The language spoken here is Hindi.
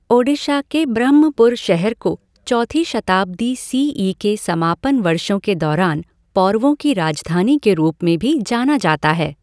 ओडिशा के ब्रह्मपुर शहर को चौथी शताब्दी सी ई के समापन वर्षों के दौरान पौरवों की राजधानी के रूप में भी जाना जाता है।